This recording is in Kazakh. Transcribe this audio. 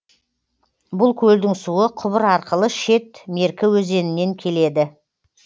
бұл көлдің суы құбыр арқылы шет меркі өзенінен келеді